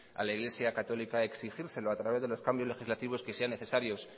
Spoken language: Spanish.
a la iglesia católica exigírselo a través de los cambios legislativos que sean necesarios